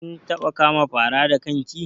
Kin taɓa kama fara da kan ki?